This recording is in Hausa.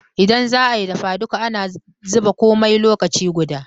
Indan zaayi dafa duka, ana zuba komai lokaci guda